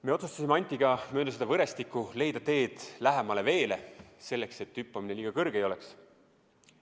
Me otsustasime Antiga mööda seda võrestikku leida tee veele lähemale, selleks et hüppamine liiga kõrge ei oleks.